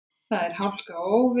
Þar er hálka og óveður.